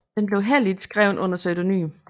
Den blev heller ikke skrevet under pseudonym